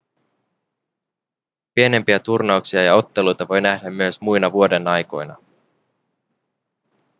pienempiä turnauksia ja otteluita voi nähdä myös muina vuodenaikoina